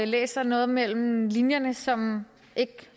læser noget mellem linjerne som ikke